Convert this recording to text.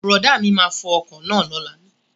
Brọ̀dá mi máa fo ọkọ̀ náà lóla